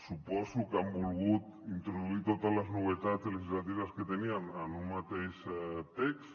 suposo que han volgut introduir totes les novetats legislatives que tenien en un mateix text